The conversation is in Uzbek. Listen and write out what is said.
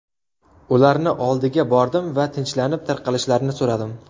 Ularni oldiga bordim va tinchlanib, tarqalishlarini so‘radim.